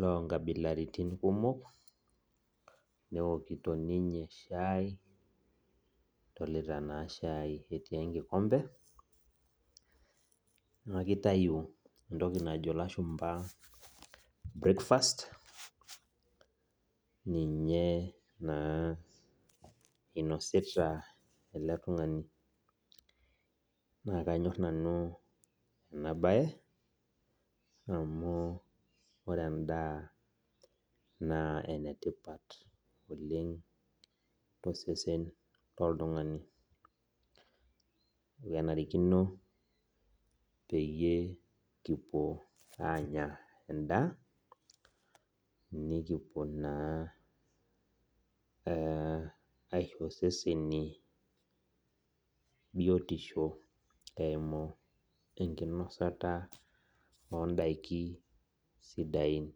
lonkabilaritin kumok neokito ninye shai adolita naa shai etii enkikombe naa mitayu entoki najo ilashumpa breakfast ninye naa inosita ele tung'ani naa kanyorr nanu ena baye amu ore endaa naa enetipat oleng tosesen lolotung'ani ekenarikino peyie kipuo aanya endaa nikipuo naa eh aisho iseseni biotisho eimu enkinosata ondaiki sidain.